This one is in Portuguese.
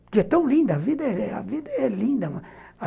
Porque é tão linda, a vida a vida é linda.